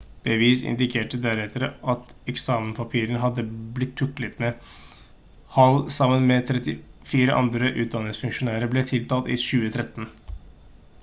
bevis indikerte deretter at eksamenspapirer hadde blitt tuklet med hall sammen med 34 andre utdanningsfunksjonærer ble tiltalt i 2013